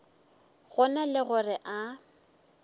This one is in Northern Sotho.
go na le gore a